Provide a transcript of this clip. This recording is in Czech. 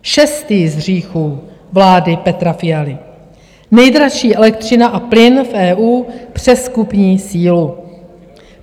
Šestý z hříchů vlády Petra Fialy - nejdražší elektřina a plyn v EU přes kupní sílu.